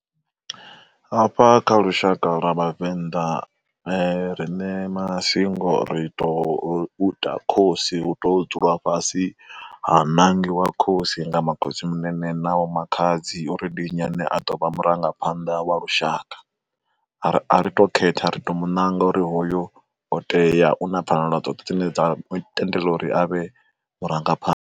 Hafha kha lushaka lwa Vhavenḓa riṋe masingo ri to ita khosi u to dzula fhasi ha nangiwa khosi nga ma khotsimunene na vho makhadzi uri ndi nnyi ane a ḓo vha murangaphanḓa wa lushaka. A ri to khetha ri to mu nanga uri hoyo o tea u na pfanelo dzoṱhe dzine dza mu tendela uri avhe murangaphanḓa.